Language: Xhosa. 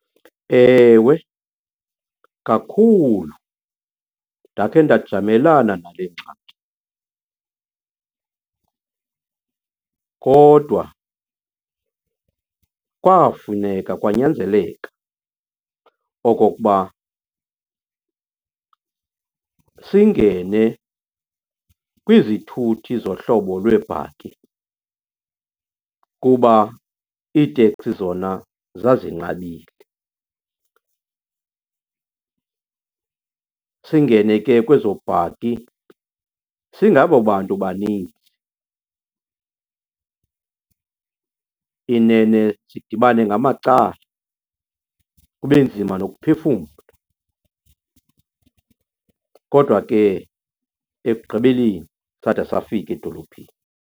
Ewe, kakhulu. Ndakhe ndajamelana nale ngxaki kodwa kwafuneka, kwanyanzeleka okokuba singene kwizithuthi zohlobo lweebhaki kuba iiteksi zona zazinqabile. Singene ke kwezo bhaki singabo bantu baninzi, inene sidibane ngamacala kube nzima nokuphefumla. Kodwa ke ekugqibeleni sada safika edolophini.